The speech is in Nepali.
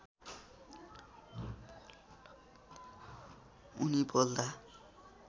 उनी बोल्दा